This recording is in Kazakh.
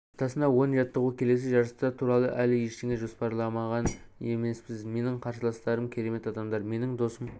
аптасына он жаттығу келесі жарыстар туралы әлі ештеңе жоспарлаған емеспіз менің қарсыластарым керемет адамдар менің досым